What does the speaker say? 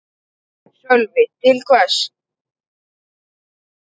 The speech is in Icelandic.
Sölvi: Til hvers?